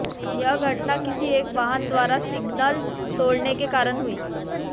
यह घटना किसी एक वाहन द्वारा सिग्नल तोड़ने के कारण हुई